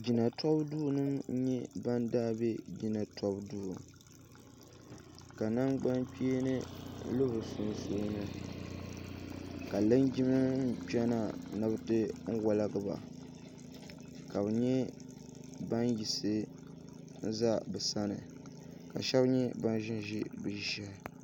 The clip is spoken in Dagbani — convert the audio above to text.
jinatobuduunima n-nyɛ ban daai be jinatobuduu ka nangbankpeeni lu bɛ sunsuuni ka linjimanima kpena ni bɛ ti waligi ba ka bɛ nyɛ ban yisi n za bɛ sani ka shaba nyɛ ban ʒin n-ʒi bɛ ʒia shehi